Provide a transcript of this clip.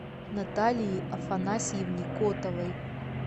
наталии афанасьевне котовой